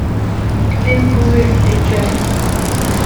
фильм пузырь включай